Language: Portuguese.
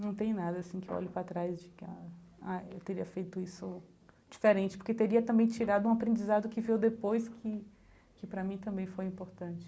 Não tem nada, assim, que eu olho para trás de ficar, ah, eu teria feito isso diferente, porque teria também tirado um aprendizado que veio depois, que que para mim também foi importante.